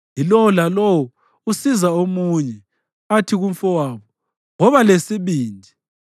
yilowo lalowo usiza omunye athi kumfowabo, “Woba lesibindi!”